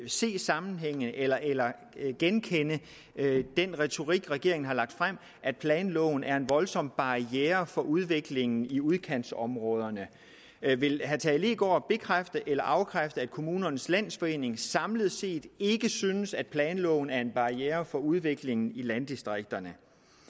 se sammenhænge eller eller genkende den retorik regeringen har med at planloven er en voldsom barriere for udviklingen i udkantsområderne vil herre tage leegaard bekræfte eller afkræfte at kommunernes landsforening samlet set ikke synes at planloven er en barriere for udviklingen i landdistrikterne